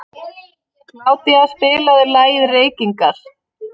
Kládía, spilaðu lagið „Reykingar“.